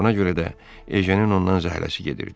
Buna görə də Ejenin ondan zəhləsi gedirdi.